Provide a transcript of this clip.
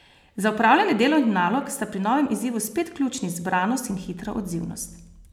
Za opravljanje delovnih nalog sta pri novem izzivu spet ključni zbranost in hitra odzivnost.